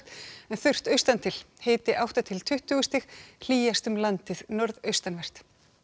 en þurrt austantil hiti átta til tuttugu stig hlýjast um landið norðaustanvert